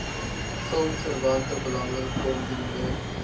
filmverwante belange kombineer